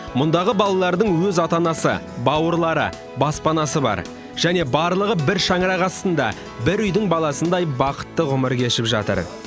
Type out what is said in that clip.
мұндағы балалардың өз ата анасы бауырлары баспанасы бар және барлығы бір шаңырақ астында бір үйдің баласындай бақытты ғұмыр кешіп жатыр